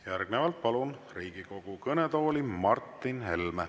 Järgnevalt palun Riigikogu kõnetooli Martin Helme.